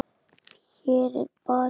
Hér er barist.